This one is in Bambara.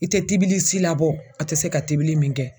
I te tibili si labɔ a tɛ se ka tibili min kɛ.